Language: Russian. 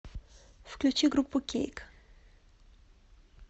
включи группу кейк